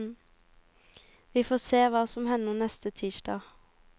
Vi får se hva som hender neste tirsdag.